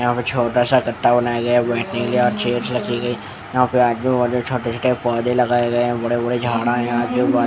यहां पे छोटा सा कट्टा बनाया गया है बैठने के लिए और चेयर्स रखी गई यहां पे छोटे-छोटे पौधे लगाए गए हैं बड़े-बड़े झाड़ा हैं यहां ये --